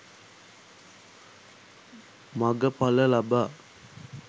මඟ ඵල ලබා